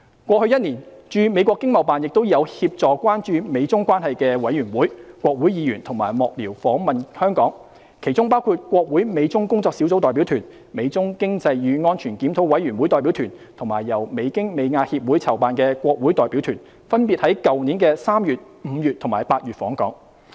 過去1年，駐美國經貿辦亦有協助關注美中關係的委員會、國會議員及幕僚訪問香港，其中包括國會美中工作小組代表團、美中經濟與安全檢討委員會代表團，以及由美京美亞協會籌辦的國會代表團，分別於去年3月、5月及8月訪港。